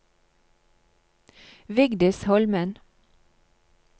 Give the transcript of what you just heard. Vigdis Holmen